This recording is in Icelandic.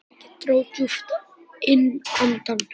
Ég dró djúpt inn andann.